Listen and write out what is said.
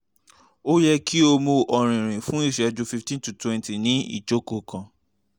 o yẹ ki o mu ọrinrin fun iṣẹju fifteen to twenty ni ijoko kan